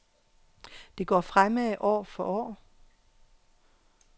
Det går fremad år for år.